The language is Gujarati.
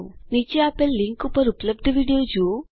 નીચે આપેલ લીંક ઉપર ઉપલબ્ધ વિડીઓ જુઓ